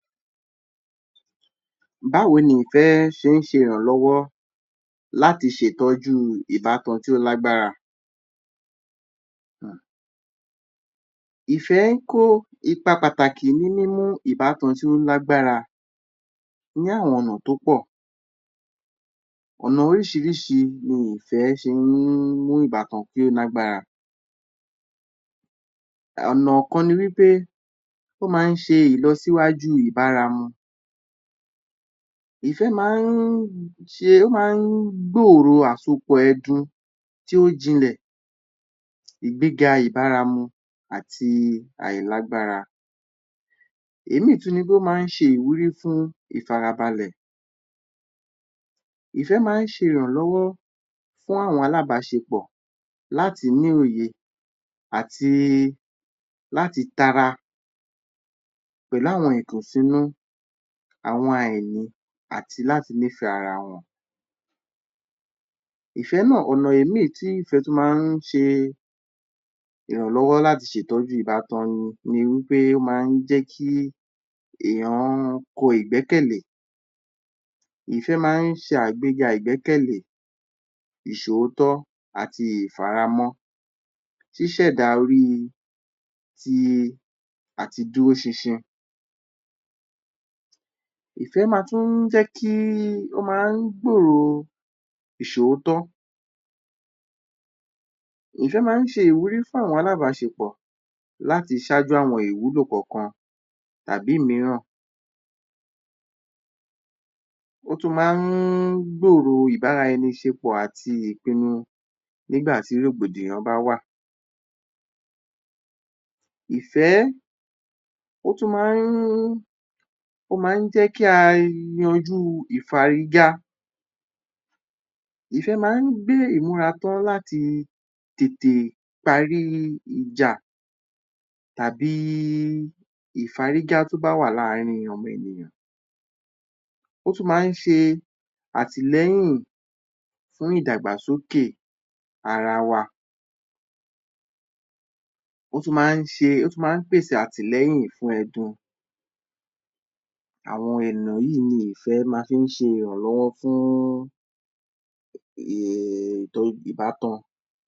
Báwo ni ìfẹ́ ṣe ń ṣe ìrànlọ́wọ́ láti ṣe ìtọ́jú ìbátan tí ó lágbára? um Ìfẹ́ ń kó ipa pàtàkì ní níní ìbátan tí ó lágbára ní àwọn ọ̀nà tó pọ̀, ọ̀nà oríṣìíríṣìí ni ìfẹ́ ṣe ní ìbátan tí ó lágbára. ọ̀nà kan ni wí pé, ó máa ń ṣe ìlọsíwájú ìbára wọn, ìfẹ́ máa ń ṣe, ó máa ń gbòrò àsopọ̀ ẹdun tí ó jinlẹ̀, ìgbéga ìbáramu àti àìlágbára. Òmíràn tún ni wí pé, ó máa ń ṣe ìwúrí fún ìfarabalẹ̀, ìfẹ́ máa ń ṣe ìrànlọ́wọ́ fún àwọn alábaṣepọ̀ láti ní òye àti láti tara pẹ̀lú àwọn ìkùnsínú, àwọn àìní àti láti nífẹ ara wọn, ìfẹ́ náà. ọ̀nà míràn tí ìfẹ́ tún máa ń ṣe ìrànlọ́wọ́ láti ṣe ìtọ́jú ìbatan ni wí pé, ó máa ń jé kí èèyàn kọ́ ìgbẹ́kẹ̀lẹ́, ìfẹ́ máa ń ṣe àgbéga ìgbékẹ̀lẹ́, ìṣòótọ́, àti ìfaramọ́, ṣíṣẹ̀dá orí ti àti dúró ṣinṣin, ìfẹ́ máa ń tún jẹ́ kí, ó máa ń gbòrò ìṣòótọ́, ìfẹ́ máa ń ṣe ìwúrí fún àwọn alábaṣepọ̀ láti ṣáájú àwọn ìwúlò kankañ tàbí òmíràn, ó tún máa ń gbòrò ìbára-ẹni ṣepọ̀ àti ìpinnu nígbà tí rògbòdìyàn bá wà. Ìfẹ́, ó tún máa ń jẹ́ kí a yanjú ìfárígá, ìfẹ́ máa ń gbé ìmúrà tán láti tètè parí ìjà tàbí ìfárígá tó bá wà láàrin ọmọ ènìyàn, ó tún máa ń ṣe àtìlẹyìn fún ìdàgbàsókè ara wa, ó tún máa ń ṣe, ó tún máa ń pèsè àtìlẹyìn fún ẹdun, àwọn ọ̀nà yìí ni ìfẹ́ máa fi ń ṣe ìrànlọ́wọ́ fún ìbátan.